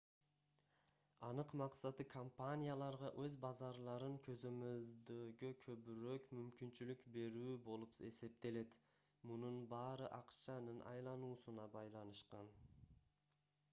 анык максаты компанияларга өз базарларын көзөмөлдөгө көбүрөөк мүмкүнчүлүк берүү болуп эсептелет мунун баары акчанын айлануусуна байланышкан